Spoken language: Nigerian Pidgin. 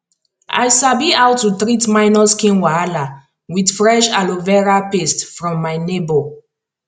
i sabi how to treat minor skin wahala with fresh aloe vera paste from my neighbor